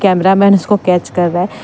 Camera man इसको catch कर रहा है।